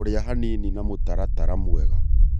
Kũrĩa hanini na mũtaratara mwega